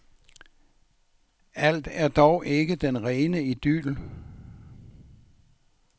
Alt er dog ikke den rene idyl.